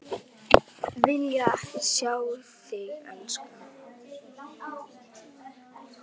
Vilja ekki sjá þig elska.